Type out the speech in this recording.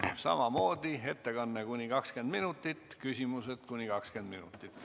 Samamoodi ettekanne kuni 20 minutit, küsimused kuni 20 minutit.